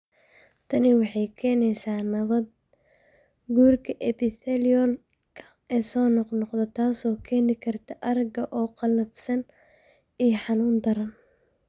Tani waxay keenaysaa nabaad-guurka epithelial-ka ee soo noqnoqda, taas oo keeni karta aragga oo qallafsan iyo xanuun daran.